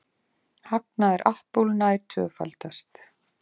Hagnaður Apple nær tvöfaldast